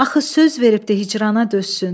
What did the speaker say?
Axı söz veribdir hicrana dözsün.